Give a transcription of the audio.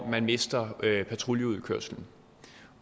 man mister patruljeudkørslen